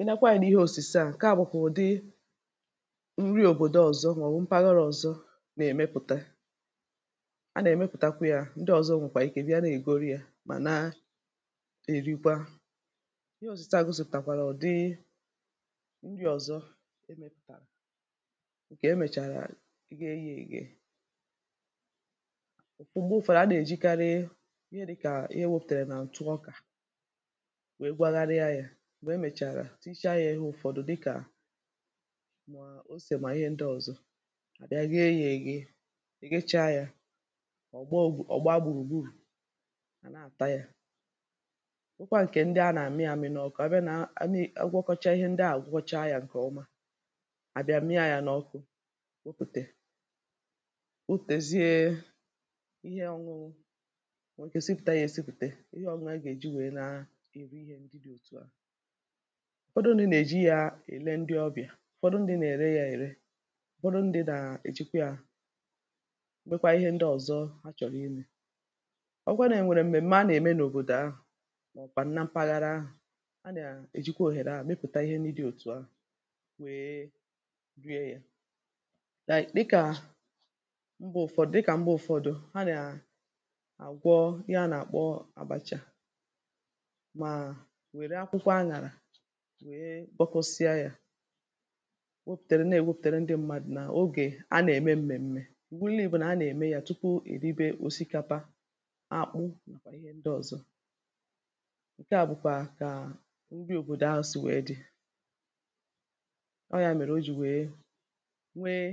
ị nàkwa anyȧ n’ihe òsìse à, kee àbụ̀kwà ụ̀dị nri òbòdo ọ̀zọ ma ọ̀ wụ̀ mpaghara ọ̀zọ nà-èmepùta a nà-èmepùtakwȧ yȧ ndị ọ̀zọ nwèkwà ike bịa nà-ègoro yȧ mà na-èrikwa ihe ọ̀zọ a gọsị̇pụ̀tàkwàrà ọ̀ dị nri ọ̀zọ emepùtàrà ǹkè emèchàrà ighe yȧ ègè òkpụ̀gbo ụ̀fàrà a nà-èjikarị ya dịkà ihe wėpụ̀tèrè nà ǹtụ ọkà m̀gbè e mèchàrà tichaa yȧ ị̀he ụ̀fọdụ dịkà m̀a osè mà ihe ndị ọ̀zọ à bịa rie yȧ èghi i gịchaa yȧ ọ̀ gbaa gbùrù gburù a na-àta yȧ nwekwa ǹkè ndị a nà-àmị à mị na ọ kọ̀ọ ebe nà a nị ọ gwọkọchaa ihe ndị à gwọọcha yȧ ǹkè ọma à bịa mịa yȧ n’ọkụ wepùtè utėzie ihe ọ̇nụ̇ nwèrè kesipùta yȧ esipùtè ihe ọ̇nụ̇ a gà-èji wèe na-èbe ihe ndị dị̇ òtù a ụ̀fọdụ ndị nà-èji yȧ èle ndị ọbịà ụ̀fọdụ ndị̇ nà-ère yȧ ère ụ̀fọdụ ndị̇ nà-èjikwa yȧ mekwaa ihe ndị ọ̀zọ ha chọ̀rọ̀ ihe ọ̀kwata ènwèrè m̀mè m̀a nà-ème n’òbòdò ahụ̀ mà ọ̀ bàna mpaghara ahụ̀ a nà-èjikwa òhèrè ahụ̀ mepụ̀ta ihe ní dị òtù ahụ̀ wee rie yȧ dịkà mbụ ụ̀fọdụ dịkà mbụ ụ̀fọdụ a nà-àgwọ ya nà-àkpọ àbacha nwèe kpọkụsịa yȧ gwopùtere nà-èwepùtere ndị mmadụ̀ nà ogè a nà-ème m̀mèm̀me ụ̀bụnlii̇ bụ nà a nà-ème yȧ tupu èribe òsikapa akpụ nàkwà ihe ndị ọ̀zọ ǹke à bụ̀kwà kà ǹri òbòdò asị wee dị̇ ọ yȧ mèrè o jì nwèe nwėė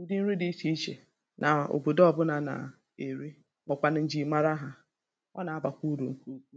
ndị nri dị̇ ichè ichè nà òbòdo ọbụ̇nà nà-èri mọ̀kwànụ̀ njì mara hà ọ nà-abàkwa urù ǹkè ukwu